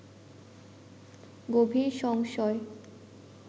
গভীর সংশয়